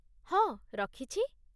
ହଁ, ରଖିଛି।